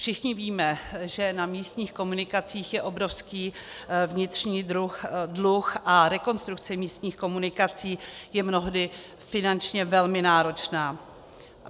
Všichni víme, že na místních komunikacích je obrovský vnitřní dluh a rekonstrukce místních komunikací je mnohdy finančně velmi náročná.